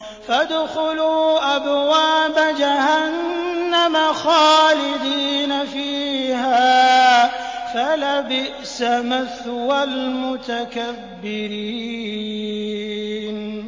فَادْخُلُوا أَبْوَابَ جَهَنَّمَ خَالِدِينَ فِيهَا ۖ فَلَبِئْسَ مَثْوَى الْمُتَكَبِّرِينَ